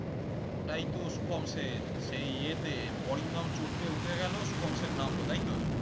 ওটাই তো শুভম সেন সেই এতে অরিন্দম চোট পেয়ে উঠে গেলো শুভম সেন নামলো তাইতো?